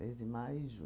Mês de maio e